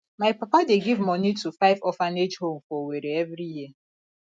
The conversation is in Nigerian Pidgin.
my papa dey give moni to five orphanage home for owerri every year